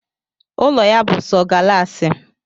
Ụlọ ya bú sọ galaasi